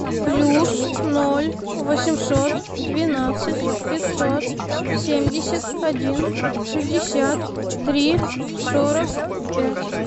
плюс ноль восемьсот двенадцать пятьсот семьдесят один шестьдесят три сорок пять